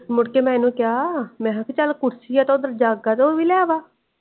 ਮੁੱਢ ਕੇ ਮੈਂ ਇਹਨੂੰ ਕਯਾ ਮੈਂ ਕਿਹਾਚਾਲ ਕੁਰਸੀ ਆ ਓਦਰ ਜੱਗ ਆ ਉਹ ਵੀ ਲੈ ਆ।